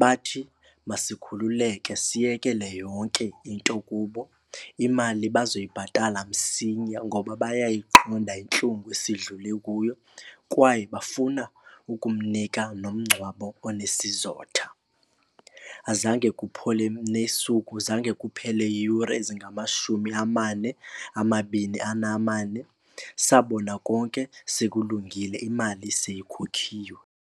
Bathi masikhululeke siyekele yonke into kubo, imali bazoyibhatala msinya ngoba bayayiqonda intlungu esidlule kuyo kwaye bafuna ukumnika nomgcwabo onesizotha. Azange kuphole nesuku, zange kuphele yure ezingamashumi amane amabini anamane, sabona konke sekulungile imali seyikhokhiwe.